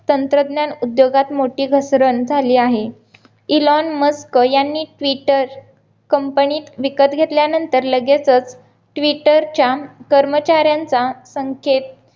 तंत्रज्ञान उद्योगात मोठी घसरण झाली आहे एलन मस्क यांनी ट्विटर company विकत घेतल्या नंतर लागेचचं ट्विटरच्या कर्मचाऱ्यांचा संकेत